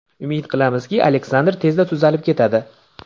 Umid qilamizki, Aleksandr tezda tuzalib ketadi.